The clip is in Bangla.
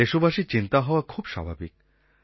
দেশবাসীর চিন্তা হওয়া খুব স্বাভাবিক